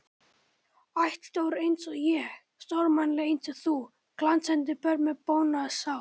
Ættstór einsog ég, stórmannleg einsog þú, glansandi börn með bónaða sál.